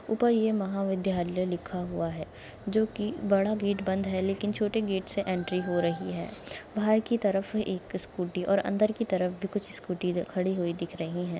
ऊपर ये महाविद्यालय लिखा हुआ है जो की बड़ा गेट लेकिन छोटे गेट से एंट्री हो रही है बाहर की तरफ एक स्कूटी और अंदर की तरफ भी कुछ स्कूटी खड़ी हुई दिख रही है।